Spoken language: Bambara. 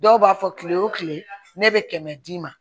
Dɔw b'a fɔ kile o kile ne bɛ kɛmɛ d'i ma